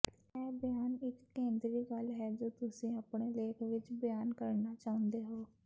ਇਹ ਬਿਆਨ ਇਕ ਕੇਂਦਰੀ ਗੱਲ ਹੈ ਜੋ ਤੁਸੀਂ ਆਪਣੇ ਲੇਖ ਵਿਚ ਬਿਆਨ ਕਰਨਾ ਚਾਹੁੰਦੇ ਹੋ